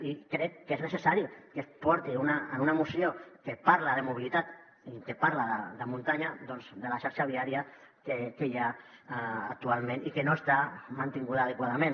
i crec que és necessari que es porti en una moció que parla de mobilitat i que parla de muntanya doncs la xarxa viària que hi ha actualment i que no està mantinguda adequadament